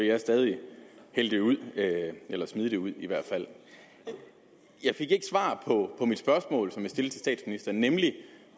jeg stadig hælde det ud eller smide det ud i hvert fald jeg fik ikke svar på mit spørgsmål til statsministeren nemlig